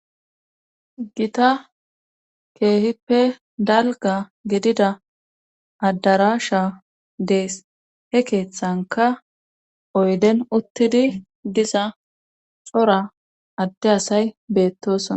Gita keehippe dalga gidida addarasha dees he keeththanka oyden uttidi diza cora adde asay beettosona.